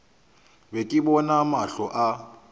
be ke bona mahlo a